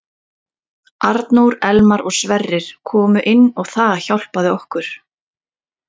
Arnór, Elmar og Sverrir komu inn og það hjálpaði okkur.